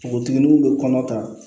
Npogotigininw be kɔnɔ ta